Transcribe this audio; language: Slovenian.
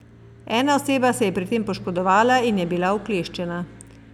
Ena oseba se je pri tem poškodovala in je bila ukleščena.